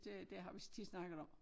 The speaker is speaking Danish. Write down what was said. Det det har vi tit snakket om